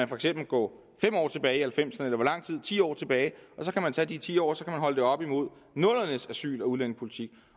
for eksempel gå fem år tilbage halvfemserne eller ti år tilbage og så kan man tage de ti år og holde det op imod nullerne s asyl og udlændingepolitik